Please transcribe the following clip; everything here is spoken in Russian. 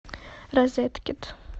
розеткед